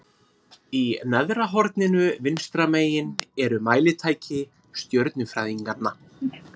Í neðra horninu vinstra megin eru mælitæki stjörnufræðinganna.